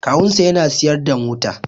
Kawunsa yana siyar da mota